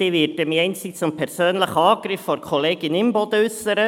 Ich werde mich einzig zum persönlichen Angriff von Kollegin Imboden äussern.